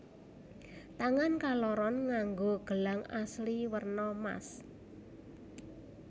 Tangan kaloron nganggo gelang asli werna mas